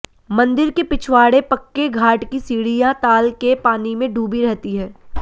मन्दिर के पिछवाड़े पक्के घाट की सीढियाँ ताल के पानी में डूबी रहती हैं